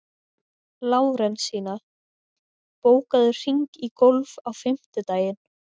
Lárensína, bókaðu hring í golf á fimmtudaginn.